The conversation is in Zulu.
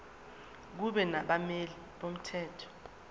kube nabameli bomthetho